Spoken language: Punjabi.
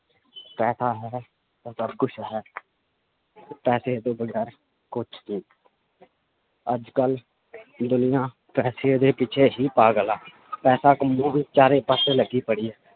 ਪੈਸਾ ਹੈ ਤਾਂ ਸਭ ਕੁਛ ਹੈ ਪੈਸੇ ਤੋਂ ਵਗ਼ੈਰ ਕੁਛ ਨੀ ਅੱਜ ਕੱਲ੍ਹ ਦੁਨੀਆਂ ਪੈਸੇ ਦੇ ਪਿੱਛੇ ਹੀ ਪਾਗਲ ਆ ਪੈਸਾ ਕਮਾਉਣ ਚਾਰੇ ਪਾਸੇ ਲੱਗੀ ਪੜੀ ਹੈ